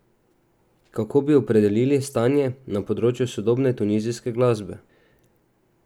Kako bi opredelili stanje na področju sodobne tunizijske glasbe?